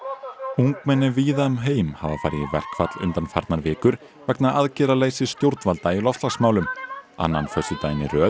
ungmenni víða um heim hafa farið í verkfall undanfarnar vikur vegna aðgerðaleysis stjórnvalda í loftslagsmálum annan föstudaginn í röð